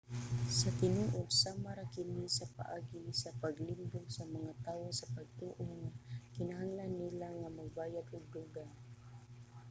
sa tinuod sama ra kini sa paagi sa paglimbong sa mga tawo sa pagtoo nga kinahanglan nila nga magbayad og dugang